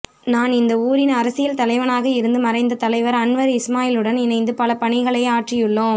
நான் இந்த ஊரின் அரசியல் தலைவனாக இருந்து மறைந்த தலைவர் அன்வர் இஸ்மாயிலுடன் இணைந்து பல பணிகளை ஆற்றியுள்ளோம்